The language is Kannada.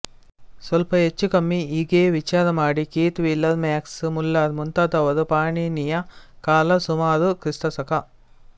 ಸ್ವಲ್ಪ ಹೆಚ್ಚು ಕಮ್ಮಿ ಹೀಗೆಯೇ ವಿಚಾರಮಾಡಿ ಕೀತ್ ವೀಲರ್ ಮ್ಯಾಕ್ಸ್ ಮುಲ್ಲರ್ ಮುಂತಾದವರು ಪಾಣಿನಿಯ ಕಾಲ ಸುಮಾರು ಕ್ರಿ